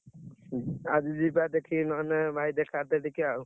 ଆଜି ଯିବା ଦେଖିକି ନହେଲେ ଭାଇ ।